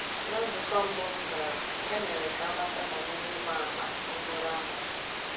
Ná nzukọ mbụ m gara, e mere ka a mata banyere ịgba àmà okporo ámá.